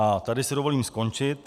A tady si dovolím skončit.